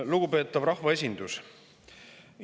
Lugupeetav rahvaesindus!